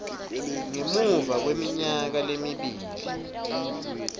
ngemuva kweminyaka lemibili